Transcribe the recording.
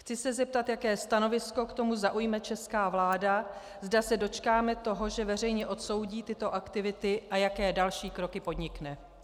Chci se zeptat, jaké stanovisko k tomu zaujme česká vláda, zda se dočkáme toho, že veřejně odsoudí tyto aktivity, a jaké další kroky podnikne.